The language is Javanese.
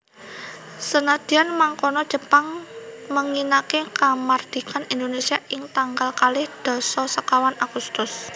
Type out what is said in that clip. Senadyan mangkono Jepang ménginaké kamardikan Indonésia ing tanggal kalih dasa sekawan Agustus